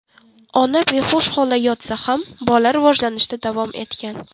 Ona behush holda yotsa ham, bola rivojlanishda davom etgan.